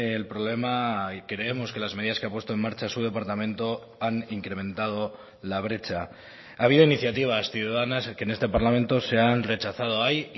el problema y creemos que las medidas que ha puesto en marcha su departamento han incrementado la brecha ha habido iniciativas ciudadanas que en este parlamento se han rechazado hay